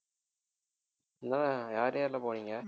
இங்கெல்லாம் யார் யார்லாம் போனீங்க